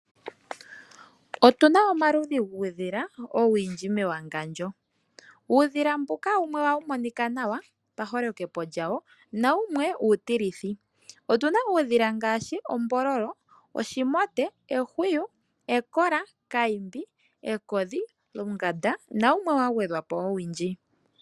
Otuna omaludhi guudhila owundji mewangandjo. Uudhila mbuka wumwe ohawu monika nawa paholokepo lyawo nawumwe uutilithi. Otuna uudhila ngaashi ombololo, oshimote, ehwiyu, ekola, kayimbi, ekodhi, lunganda nawumwe wa gwedhwa po owundji.